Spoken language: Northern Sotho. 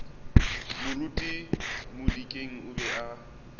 moruti modikeng o be a